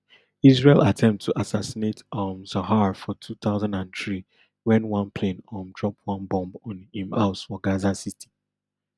israel attempt to assassinate um zahar for two thousand and three wen one plane um drop bomb on im house for gaza city